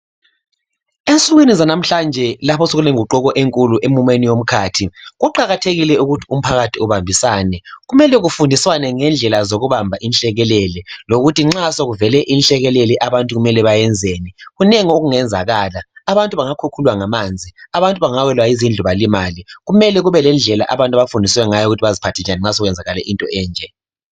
Ensukwini zalamhlanje lapho sekulenguquko enkulu emumeni womkhathi, kuqakathekile ukuthi umphakathi ubambisane. Kumele kufundiswane ngendlela zokubamba inhlekelele, lokuthi nxa sekuvele inhlekelele abantu kumele bayenzeni. Kunengi okungenzakala. Abantu bangakhukhulwa ngamanzi, abantu bangawelwa yizindlu balimale. Kumele kube lendlela abantu abafundiswe ngayo ukuthi baziphathe njani nxa sekwenzakale into enje.